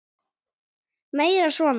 Meira svona!